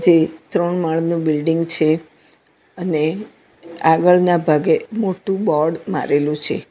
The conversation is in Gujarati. જે ત્રણ માળનું બિલ્ડીંગ છે અને આગળના ભાગે મોટું બોર્ડ મારેલું છે.